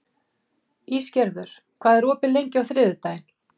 Ísgerður, hvað er opið lengi á þriðjudaginn?